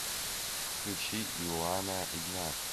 включи иоана игнат